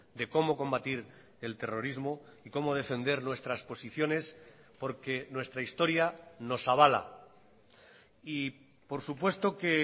de cómo combatir el terrorismo y cómo defender nuestras posiciones porque nuestra historia nos avala y por supuesto que